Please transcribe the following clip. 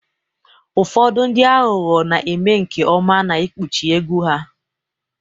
Ụfọdụ ndị aghụghọ na-eme nke ọma n'ikpuchi egwu ha